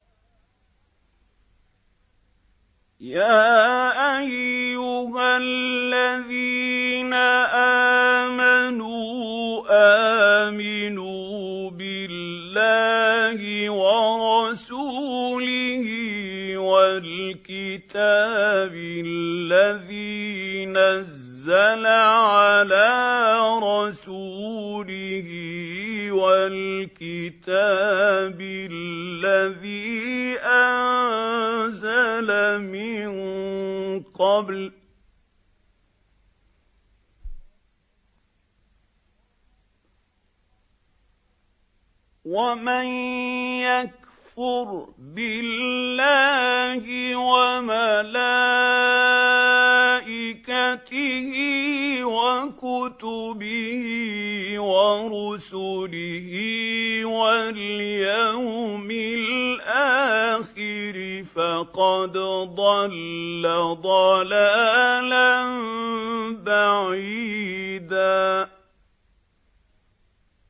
يَا أَيُّهَا الَّذِينَ آمَنُوا آمِنُوا بِاللَّهِ وَرَسُولِهِ وَالْكِتَابِ الَّذِي نَزَّلَ عَلَىٰ رَسُولِهِ وَالْكِتَابِ الَّذِي أَنزَلَ مِن قَبْلُ ۚ وَمَن يَكْفُرْ بِاللَّهِ وَمَلَائِكَتِهِ وَكُتُبِهِ وَرُسُلِهِ وَالْيَوْمِ الْآخِرِ فَقَدْ ضَلَّ ضَلَالًا بَعِيدًا